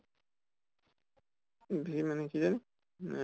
v মানে কি ঐ আহ